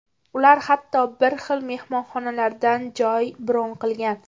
Ular hatto bir xil mehmonxonadan joy bron qilgan.